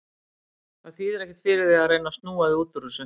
Það þýðir ekkert fyrir þig að reyna að snúa þig út úr þessu.